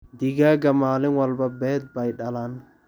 Digaagga maalin walba beed bay dhalaan.